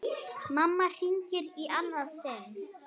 Mamma hringir í annað sinn.